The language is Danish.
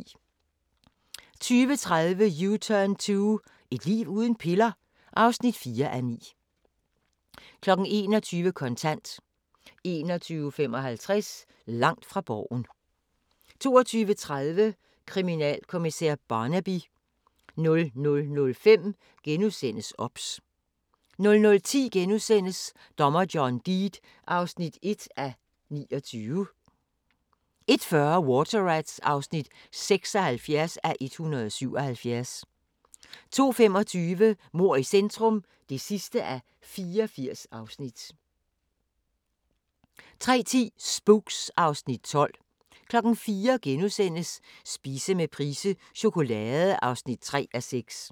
20:30: U-turn 2 – et liv uden piller? (4:9) 21:00: Kontant 21:55: Langt fra Borgen 22:30: Kriminalkommissær Barnaby 00:05: OBS * 00:10: Dommer John Deed (1:29)* 01:40: Water Rats (76:177) 02:25: Mord i centrum (84:84) 03:10: Spooks (Afs. 12) 04:00: Spise med Price - chokolade (3:6)*